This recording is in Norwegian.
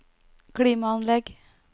klimaanlegg